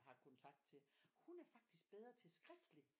Har kontakt til hun er faktisk bedre til skriftlig